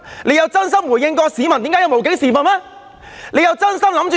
有否真心回應市民對"無警時分"的控訴嗎？